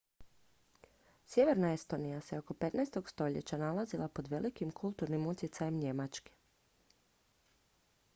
sjeverna estonija se oko 15. stoljeća nalazila pod velikim kulturnim utjecajem njemačke